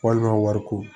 Walima wari ko